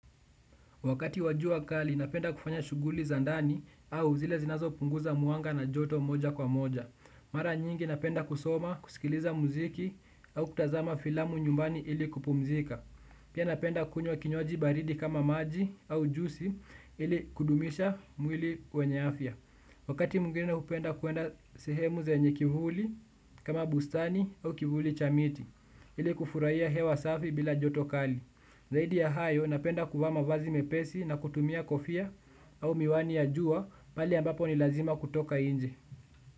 Wakati wa jua kali, napenda kufanya shughuli za ndani au zile zinazopunguza mwanga na joto moja kwa moja. Mara nyingi napenda kusoma, kusikiliza muziki au kutazama filamu nyumbani ili kupumzika. Pia napenda kunywa kinywaji baridi kama maji au jusi ili kudumisha mwili wenye afya. Wakati mwingine naupenda kuenda sehemu zenye kivuli kama bustani au kivuli cha miti ili kufurahia hewa safi bila joto kali. Zaidi ya hayo napenda kuvaa mavazi mepesi na kutumia kofia au miwani ya jua pale ambapo ni lazima kutoka nje.